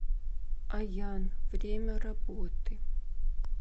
аян время работы